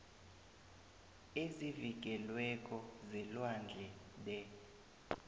ezivikelweko zelwandle the